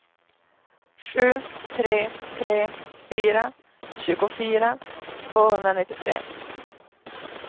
sju tre tre fyra tjugofyra tvåhundranittiotre